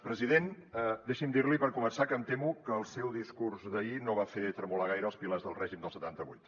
president deixi’m dir li per començar que em temo que el seu discurs d’ahir no va fer tremolar gaire els pilars del règim del setanta vuit